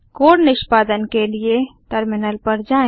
code निष्पादन के लिए टर्मिनल पर जाएँ